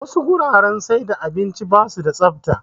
Wasu guraren siyar da abinci basu da tsafta